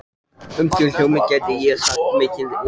Um þau hjónin gæti ég sagt mikið og margt.